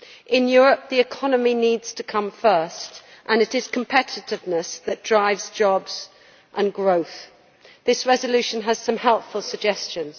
In Europe, the economy needs to come first, and it is competitiveness that drives jobs and growth. This resolution has some helpful suggestions.